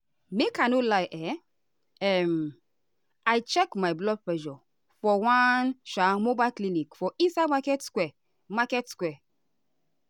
make i no lie um um i check my blood pressure for one um mobile clinic for inside market square. market square.